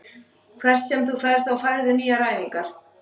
Hvert sem þú ferð þá færðu nýjar æfingar.